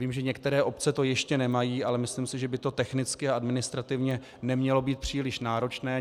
Vím, že některé obce to ještě nemají, ale myslím si, že by to technicky a administrativně nemělo být příliš náročné.